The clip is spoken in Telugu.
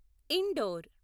ఇండోర్